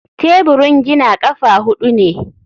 Teburin gina ƙafa huɗu ne.